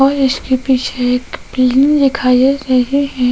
और इसके पीछे एक पीला दिखाया गया है।